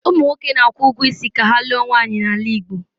Ụmụ nwoke na-akwụ ụgwọ isi ka ha lụọ nwaanyị n'ala Igbo.